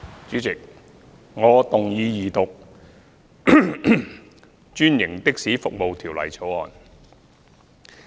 主席，我動議二讀《專營的士服務條例草案》。